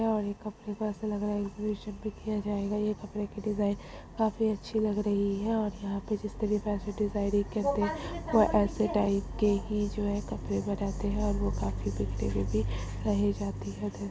और ये कपड़ा ऐसा लग रहा है किया जाएगा ये कपड़े की डिजाइन काफी अच्छी लग रही है और यहाँ पे जो इस तरह के डिज़ाइन ऐसे टाइप के ही कपड़े बनाते है और वो काफी --